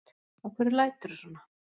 Af hverju læturðu svona?